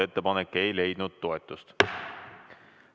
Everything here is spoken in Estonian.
Ettepanek ei leidnud toetust.